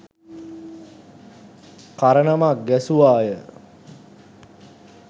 කරණමක් ගැසුවාය